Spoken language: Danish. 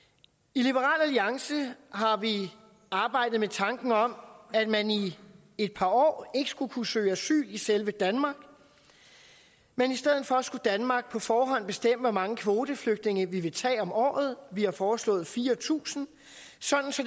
i liberal alliance har vi arbejdet med tanken om at man i et par år ikke skulle kunne søge asyl i selve danmark men i stedet for skulle danmark på forhånd kunne bestemme hvor mange kvoteflygtninge vi tager om året vi har foreslået fire tusind så